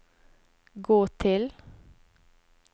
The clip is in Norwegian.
gå til